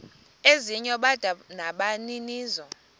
ezinye bada nabaninizo